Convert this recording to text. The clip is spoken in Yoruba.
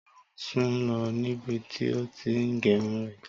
Táíwò sùn lọ níbi tí ó ti ń gérun rẹ̀